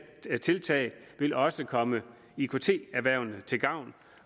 tiltag vil også komme ikt erhvervene til gavn